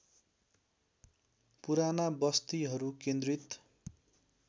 पुराना बस्तीहरू केन्द्रित